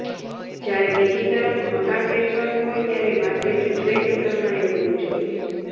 જ્યારે બીજી તરફ મકાન વેચવાનું હોય ત્યારે માર્કેટ ટ્રેન્ડ પ્રમાણે હોવું જોઇએ